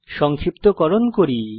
সংক্ষিপ্তকরণ করি